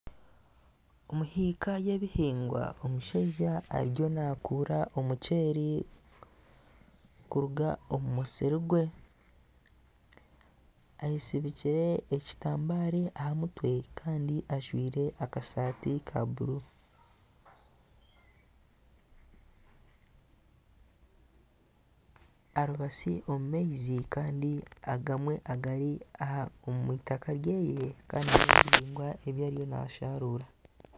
Omu hiika y'ebihingwa, omushaija ariyo nakuura omuceri kuruga omu musiri gwe. Ayezirikire ekitambaara aha mutwe Kandi ajwire akasati ka bururu, aribatsi omu maizi Kandi agamwe gari omu itaka ryeye Kandi n'omubihingwa bye ebyariyo nasharuura.